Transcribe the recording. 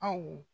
Aw